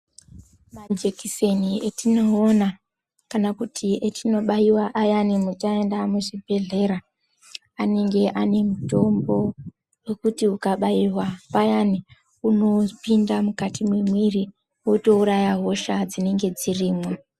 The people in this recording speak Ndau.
Majikiseni etinoona kana kuti etinobaiwa ayani taenda muzvibhedhlera anenge ane mitombo yekuti ukabaiwa payani unopinda mukati mwemwiri wotouraya hosha dzinenge dzirimwo.